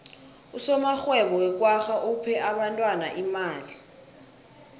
usomarhwebo wekwagga uphe abentwana imali